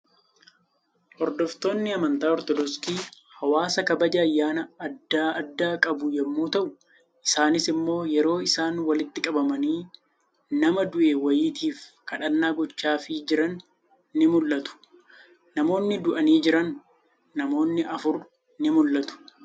Hordoftoonni amantaa Ortodoksii, hawaasa kabaja ayyaana addaa addaa qabu yemmuu ta'u, isaanis immoo yeroo isaan walitti qabamanii nama du'e wayiitiif kadhanna gochaafii jiran ni mul'atu. Namoonni du'anii jiran, namoonni afur ni mul'atu.